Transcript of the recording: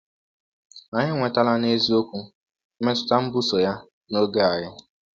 Anyị enwetala n’eziokwu mmetụta mbuso ya n’oge anyị.